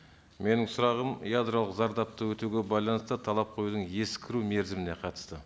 менің сұрағым ядролық зардапты өтеуге байланысты талап қоюдың ескіру мерзіміне қатысты